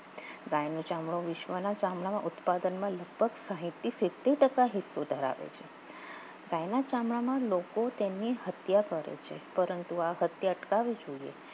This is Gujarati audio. ગાયનો ચામડુ વિશ્વાના ચામડાનો ઉત્પાદન હેતુ ધરાવે છે ગાયના ચામડામાં લોકો તેની હત્યા કરે છે પરંતુ હત્યા કઈ સુધી